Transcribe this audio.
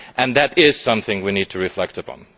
That is something we need to reflect upon.